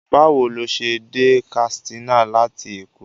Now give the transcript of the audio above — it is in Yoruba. Báwo ló ṣe dé Katsina láti Èkó?